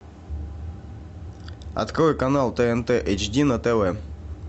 открой канал тнт эйч ди на тв